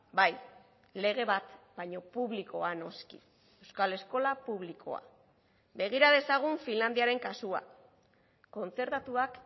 bai lege bat baina publikoa noski euskal eskola publikoa begira dezagun finlandiaren kasua kontzertatuak